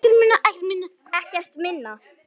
Ekkert minna.